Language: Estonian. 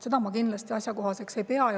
Seda ma kindlasti asjakohaseks ei pea.